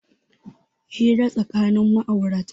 Hira tsakanin ma'aurata